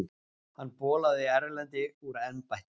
Hann bolaði Erlendi úr embætti.